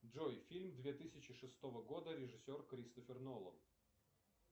джой фильм две тысячи шестого года режиссер кристофер нолан